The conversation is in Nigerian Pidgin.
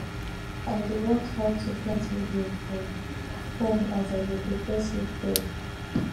i dey watch how to plant video for phone as i dey prepare seedbed